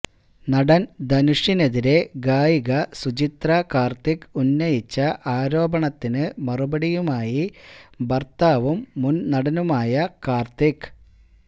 നടൻ ധനുഷിനെതിരെ ഗായിക സുചിത്ര കാർത്തിക് ഉന്നയിച്ച ആരോപണത്തിനു മറുപടിയുമായി ഭർത്താവും മുൻനടനുമായ കാർത്തിക്